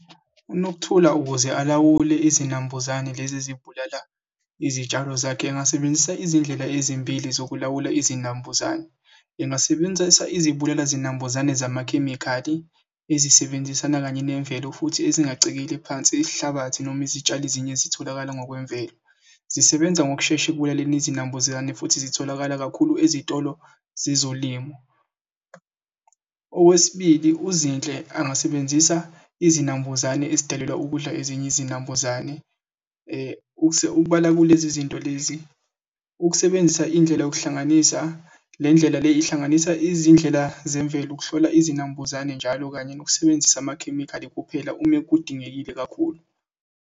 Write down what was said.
UNokuthula ukuze alawule izinambuzane lezi ezibulala izitshalo zakhe engasebenzisa izindlela ezimbili zokulawula izinambuzane. Engasebenzisa izibulala zinambuzane zamakhemikhali ezisebenzisana kanye nemvelo futhi ezingacekeli phansi isihlabathi noma izitshalo ezinye zitholakala ngokwemvelo. Zisebenza ngokushesha ekubulaleni izinambuzane futhi zitholakala kakhulu ezitolo zezolimo. Okwesibili, uZinhle angasebenzisa izinambuzane ezidalelwa ukudla ezinye izinambuzane ukubala kulezi zinto lezi. Ukusebenzisa indlela yokuhlanganisa le ndlela le ihlanganisa izindlela zemvelo ukuhlola izinambuzane njalo kanye nokusebenzisa amakhemikhali kuphela ume kudingekile kakhulu.